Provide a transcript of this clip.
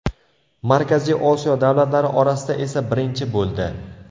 Markaziy Osiyo davlatlari orasida esa birinchi bo‘ldi.